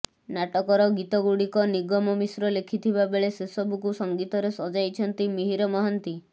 ନାଟକର ଗୀତଗୁଡ଼ିକ ନିଗମ ମିଶ୍ର ଲେଖିଥିବା ବେଳେ ସେସବୁକୁ ସଂଗୀତରେ ସଜାଇଛନ୍ତି ମିହିର ମହାନ୍ତି